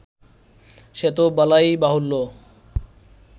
সে তো বলাই বাহুল্য